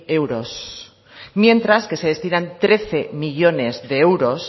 euros mientras que se destinan trece millónes de euros